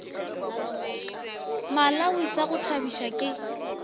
malawi sa go thabiša ke